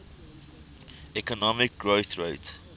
economic growth rate